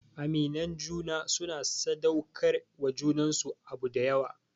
Aminan juna suna sadaukar wa junansu abu dayawa